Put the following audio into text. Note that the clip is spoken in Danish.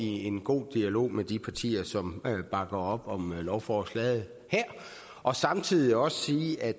i en god dialog med de partier som bakker op om lovforslaget her og samtidig også sige at